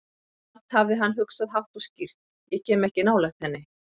Samt hafði hann hugsað, hátt og skýrt: Ég kem ekki nálægt henni.